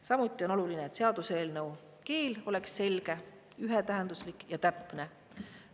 Samuti on oluline, et seaduseelnõu keel oleks selge, ühetähenduslik ja täpne.